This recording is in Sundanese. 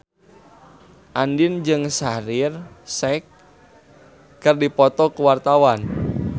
Andien jeung Shaheer Sheikh keur dipoto ku wartawan